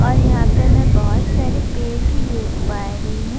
اور یھاں پی می بہت سارے پیڈ بھی دیکھ پا رہی ہو-